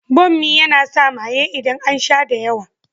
Bommi yana sa maye idan an sha da yawa.